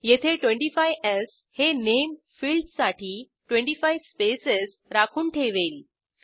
येथे 25स् हे नामे फिल्डसाठी 25 स्पेसेस राखून ठेवेल